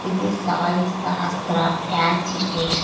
ఇది Sai Sahastra fancy station .